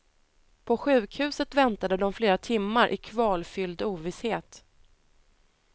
På sjukhuset väntade de flera timmar i kvalfylld ovisshet.